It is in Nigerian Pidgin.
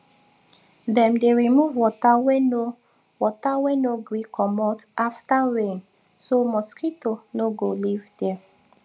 dem dey remove water way no water way no gree comot after rain so mosquito no go live there